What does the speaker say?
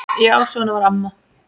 Já, svona var amma.